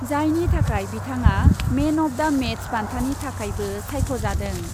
जायनि थाखाय बिथाङा मेन अफ दा मेच बान्थानि थाखायबो सायख'जादों ।